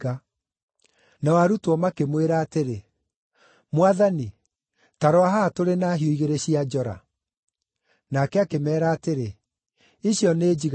Nao arutwo makĩmwĩra atĩrĩ, “Mwathani, ta rora haha tũrĩ na hiũ cia njora igĩrĩ.” Nake akĩmeera atĩrĩ, “Icio nĩ njiganu.”